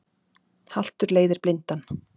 Haltur leiðir blindan